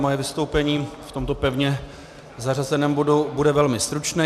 Moje vystoupení v tomto pevně zařazeném bodu bude velmi stručné.